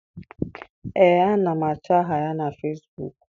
Ee, ana m achọ aha ya na Fesbuk.